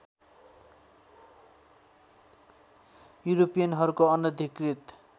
युरोपियनहरुको अनधिकृत